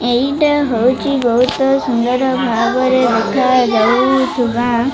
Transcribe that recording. ଏଇଟା ହୋଉଚି ବୋହୁତ ସୁନ୍ଦର ଭାବରେ ଦେଖାଯାଉଥୁବା --